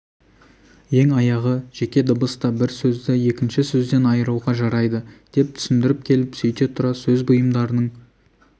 ең аяғы жеке дыбыс та бір сөзді екінші сөзден айыруға жарайды деп түсіндіріп келіп сөйте тұра сөз бұйымдарының